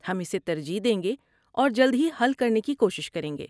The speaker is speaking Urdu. ہم اسے ترجیح دیں گے اور جلد ہی حل کرنے کی کوشش کریں گے۔